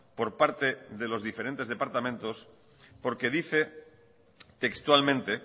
por parte de los diferentes departamentos porque dice textualmente